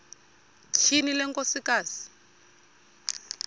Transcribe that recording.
tyhini le nkosikazi